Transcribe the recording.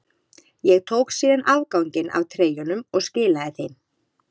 Ég tók síðan afganginn af treyjunum og skilaði þeim.